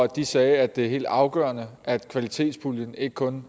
de sagde at det er helt afgørende at kvalitetspuljen ikke kun